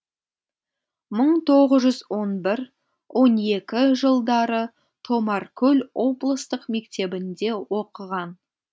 мың тоғыз жүз он бір он екі жылдары томаркөл облыстық мектебінде оқыған